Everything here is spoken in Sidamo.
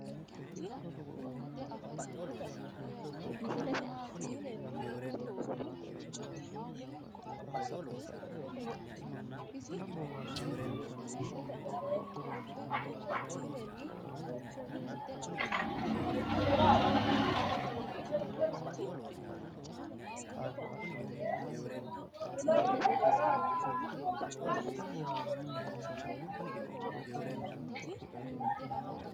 Abbebe Biqilihu heewonni higanni hee’reennanni gusichiwiinni tonnu roorrichimma uyinisi Abbebe Biqilihu heewonni higanni hee’reennanni gusichiwiinni tonnu roorrichimma uyinisi Abbebe Biqilihu.